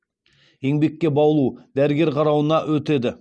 еңбекке баулу дәрігер қарауына өтеді